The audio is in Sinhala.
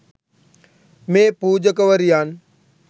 මේ පූජකවරියන්